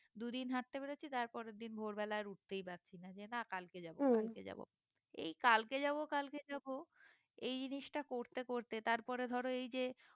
দু দিন হাটতে বেরোচ্ছি তার পরের দিন ভোর বেলা আর উঠতেই পারছি না যে না কালকে যাবো কালকে যাবো এই কালকে যাবো কালকে যাবো এই জিনিসটা করতে করতে তারপরে ধরো এই যে